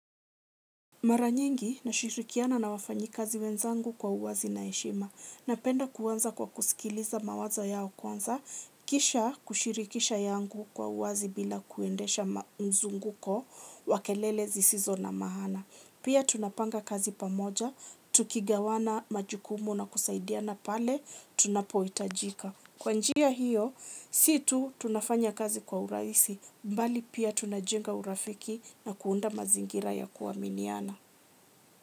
Mara nyingi, nashirikiana na wafanyikazi wenzangu kwa uwazi na heshima. Napenda kuanza kwa kusikiliza mawazo yao kwanza kisha kushirikisha yangu kwa uwazi bila kuendesha mzunguko wa kelele zisizo na maana. Pia tunapanga kazi pamoja tukigawana majukumu na kusaidiana pale tunapohitajika. Kwa njia hiyo si tu tunafanya kazi kwa urahisi bali pia tunajenga urafiki na kuunda mazingira ya kuaminiana.